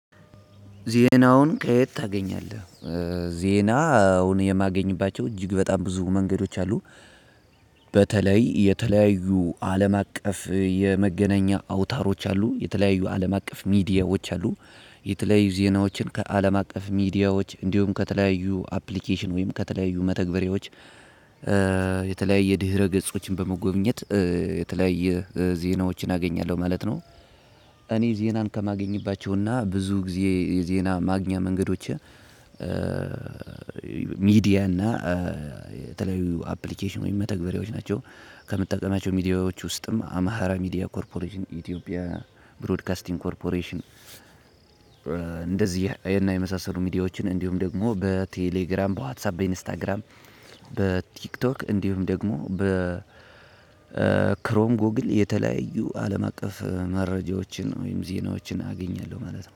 ዜናውን ከየት ታገኛለህ? ዜናውን የማገኝባቸው እጅግ በጣም ብዙ መንገዶች አሉ። በተለይ የተለያዩ አለም አቀፍ የመገናኛ አውታሮች አሉ የተለያዩ አለም አቀፍ ሚዲያዎች አሉ። የተለያዩ ዜናዎችን ከአለም አቀፍ ሚዲያዎች እንዲሁም ከተለያዩ አፕሊኬሽን ወይም ከተለያዩ መተግበሪያዎች የተለያየ ድህረ ገጾችን በመጎብኘት የተለያየ ዜናዎችን አገኛለሁ ማለት ነው። እኔ ዜናን ከማገኝባቸውና ብዙ ጊዜ የዜና ማግኛ መንገዶቼ። ሚዲያ እና የተለያዩ አፕሊኬሽን ወይም መተግበሪያዎች ናቸው። ከምጠቀማቸው ሚዲያዎች ውስጥም አማራ ሚዲያ ኮርፖሬሽን ኢትዮጵያ ብሮድካስቲንግ ኮርፖሬሽን። እንደዚህ እና የመሳሰሉ ሚዲያዎችን እንዲሁም ደግሞ በቴሌግራም በዋትሳፕ በኢንስታግራም በቲክቶክ እንዲሁም ደግሞ በ ክሮም ጎግል የተለያዩ አለም አቀፍ መረጃዎችን ወይም ዜናዎችን አገኛለሁ ማለት ነው።